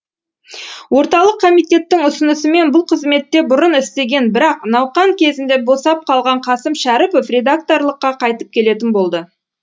орталық комитеттің ұсынысымен бұл қызметте бұрын істеген бірақ науқан кезінде босап қалған қасым шәріпов редакторлыққа қайтып келетін болды